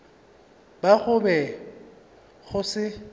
ba go be go se